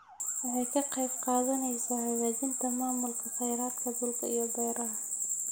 Waxay ka qayb qaadanaysaa hagaajinta maamulka khayraadka dhulka iyo beeraha.